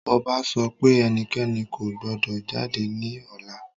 Ọba sọ pé ẹnikẹ́ni kò gbọdọ̀ jáde ní ọ̀la